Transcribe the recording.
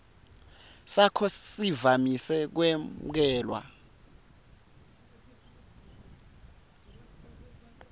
sakho sivamise kwemukelwa